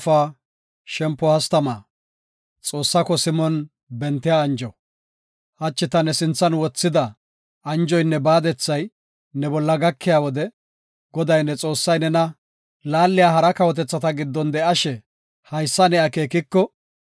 Hachi ta ne sinthan wothida anjoynne baadethay ne bolla gakiya wode Goday, ne Xoossay nena laaliya hara kawotethata giddon de7ishe haysa ne akeekiko,